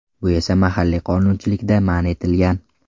Bu esa mahalliy qonunchilikda man etilgan.